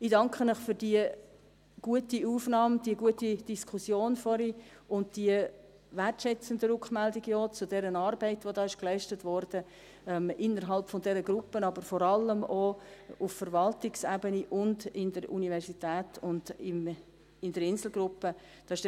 Ich danke Ihnen für die gute Aufnahme, für die gute Diskussion vorhin und für die wertschätzenden Rückmeldungen zur Arbeit, die da innerhalb dieser Gruppe, aber vor allem auch auf Verwaltungsebene, in der Universität und in der Insel-Gruppe geleistet wurde.